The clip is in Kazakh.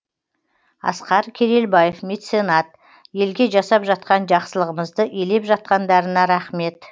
асқар керелбаев меценат елге жасап жатқан жақсылығымызды елеп жатқандарына рақмет